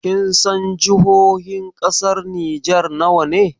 Kinsan jihohin ƙasar Nijar nawa ne?